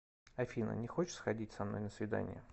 афина не хочешь сходить со мной на свидание